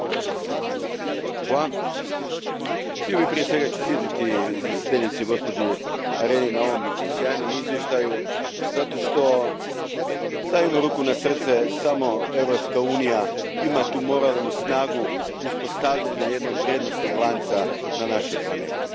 Gospođo predsjednice, htio bih prije svega čestitati izvjestiteljici gospođi Areni na ovom sjajnom izvješću zato što, stavimo ruku na srce, samo Europska unija ima tu moralnu snagu uspostavljanja jednog vrijednosnog lanca na našoj planeti.